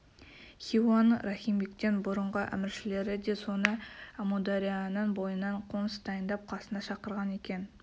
хиуаның рахимбектен бұрынғы әміршілері де соны біліп әмударияның бойынан қоныс дайындап қасына шақырған екен